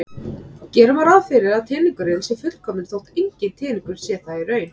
Gera verður ráð fyrir að teningurinn sé fullkominn þótt enginn teningur sé það í raun.